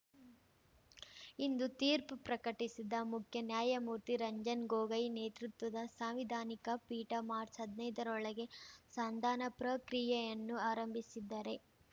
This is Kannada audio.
ಇಂದು ತೀರ್ಪು ಪ್ರಕಟಿಸಿದ ಮುಖ್ಯ ನ್ಯಾಯಮೂರ್ತಿ ರಂಜನ್ ಗೊಗಯ್ ನೇತೃತ್ವದ ಸಾಂವಿಧಾನಿಕ ಪೀಠ ಮಾರ್ಚ್ ಹದ್ನೈದರೊಳಗೆ ಸಂಧಾನ ಪ್ರಕ್ರಿಯೆಯನ್ನು ಆರಂಭಿಸಿದ್ದರೆ